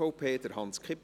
voll auszuschöpfen.